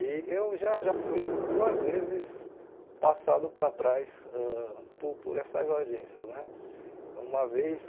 E eu já já fui duas vezes passado para trás ãh po por essas agências né. Uma vez